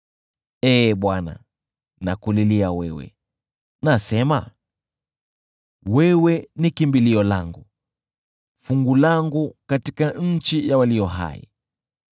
Ee Bwana , nakulilia wewe, nasema, “Wewe ni kimbilio langu, fungu langu katika nchi ya walio hai.”